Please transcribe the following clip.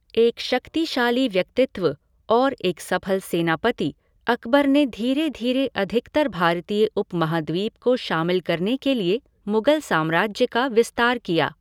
एक शक्तिशाली व्यक्तित्व और एक सफल सेनापति, अकबर ने धीरे धीरे अधिकतर भारतीय उपमहाद्वीप को शामिल करने के लिए मुगल साम्राज्य का विस्तार किया।